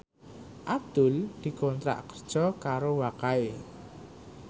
Abdul dikontrak kerja karo Wakai